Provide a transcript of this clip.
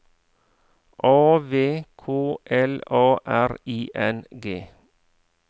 A V K L A R I N G